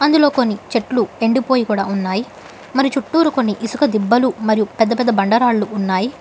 మద్యలో కొన్ని చెట్లు ఎండిపోయి కూడా ఉన్నాయి మరి చుట్టూరు కొన్ని ఇసుక దిబ్బలు మరియు పెద్ద పెద్ద బండరాళ్లు ఉన్నాయి.